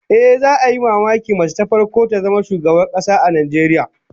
Ehh, za'a yi mamakin mace ta farko ta zama shugabar kasa a Najeriya